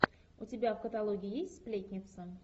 у тебя в каталоге есть сплетница